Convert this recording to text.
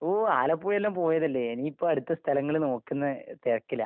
ഓ ആലപ്പുഴയെല്ലാം പോയതല്ലേ? ഇനിയിപ്പ അടുത്ത സ്ഥലങ്ങള് നോക്കുന്ന തെരക്കിലാ.